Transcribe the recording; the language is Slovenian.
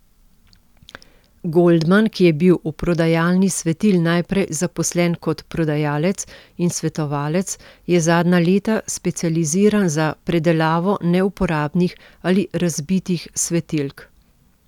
Goldman, ki je bil v prodajalni svetil najprej zaposlen kot prodajalec in svetovalec, je zadnja leta specializiran za predelavo neuporabnih ali razbitih svetilk.